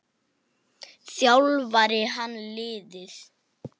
Þjálfar hann liðið?